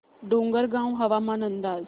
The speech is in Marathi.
डोंगरगाव हवामान अंदाज